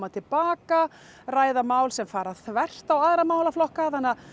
til baka ræða mál sem fara þvert á aðra málaflokka þannig